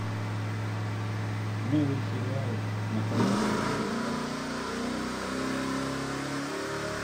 новый сериал на канале ростов папа